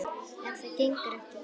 En það gengur ekki.